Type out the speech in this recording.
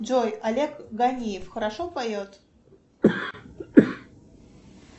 джой олег ганиев хорошо поет